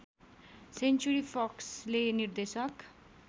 century फक्सले निर्देशक